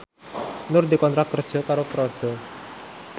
Nur dikontrak kerja karo Prada